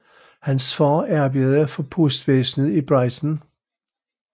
Hans far arbejdede for postvæsnet i Brighton